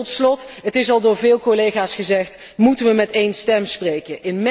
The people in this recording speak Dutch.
Tot slot het is al door veel collega's gezegd moeten we met één stem spreken.